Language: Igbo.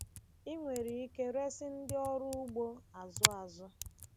Ị nwere ike resị ndị ọrụ ugbo azụ̀ azụ̀.